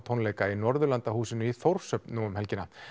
tónleika í Norðurlandahúsinu í Þórshöfn nú um helgina